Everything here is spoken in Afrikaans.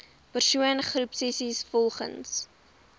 persoon groepsessies volgens